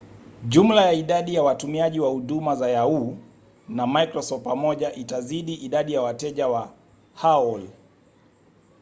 jumla ya idadi ya watumiaji wa huduma za yahoo! na microsoft pamoja itazidi idadi ya wateja wa aol